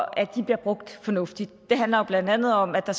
at de bliver brugt fornuftigt det handler jo blandt andet om at der